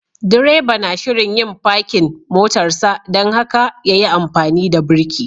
Direba na shirin yin parking motarsa dan haka ya yi amfani da birki.